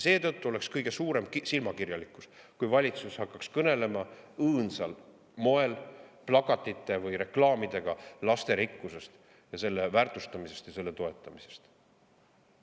Seetõttu oleks kõige suurem silmakirjalikkus, kui valitsus hakkaks õõnsal moel, plakatite või reklaamidega kõnelema lasterikkusest, selle väärtustamisest ja toetamisest.